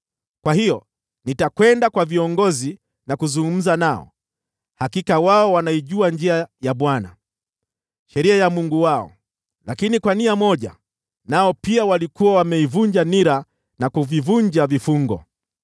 Kwa hiyo nitakwenda kwa viongozi na kuzungumza nao, hakika wao wanaijua njia ya Bwana , sheria ya Mungu wao.” Lakini kwa nia moja nao pia walikuwa wameivunja nira na kuvivunja vifungo.